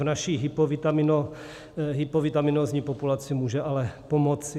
V naší hypovitaminózní populaci může ale pomoci.